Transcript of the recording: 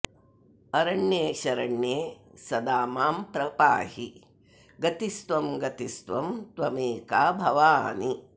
अरण्ये शरण्ये सदा मां प्रपाहि गतिस्त्वं गतिस्त्वं त्वमेका भवानि